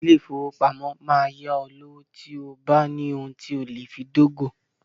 Ilé-ìfowópamọ́ máa yá ọ lówó tí o bá ní ohun tí o lè fi dógò.